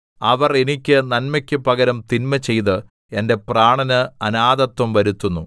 അവർ എനിക്ക് നന്മയ്ക്കു പകരം തിന്മചെയ്ത് എന്റെ പ്രാണന് അനാഥത്വം വരുത്തുന്നു